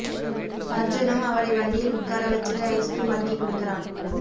அர்ஜுனும் அவளை வண்டியில் உட்கார வச்சுட்டு ஐஸ்க்ரீம் வாங்கி குடுக்கறான்